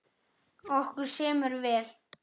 Okkur semur vel